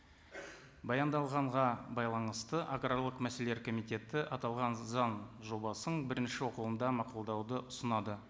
баяндалғанға байланысты аграрлық мәселелер комитеті аталған заң жобасын бірінші оқылымда мақұлдауды ұсынады